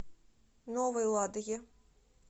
новой ладоге